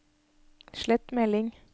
slett melding